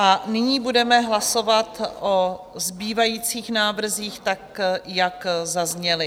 A nyní budeme hlasovat o zbývajících návrzích tak, jak zazněly.